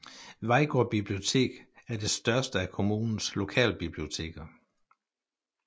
Vejgaard Bibliotek er det største af kommunens lokalbiblioteker